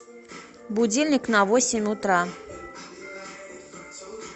будильник на восемь утра